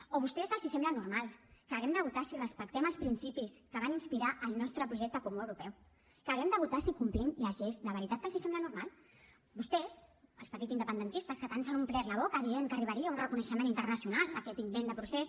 o a vostès els sembla normal que haguem de votar si respectem els principis que van inspirar el nostre projecte comú europeu que haguem de votar si complim les lleis de veritat que els sembla normal vostès els partits independentistes que tant s’han omplert la boca dient que arribaria un reconeixement internacional a aquest invent de procés